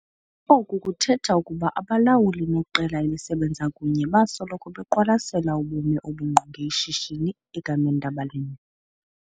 Oku kuthetha ukuba abalawuli neqela elisebenza kunye basoloko beqwalasela ubume obungqonge ishishini egameni labalimi.